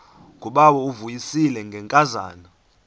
ngubawo uvuyisile ngenkazana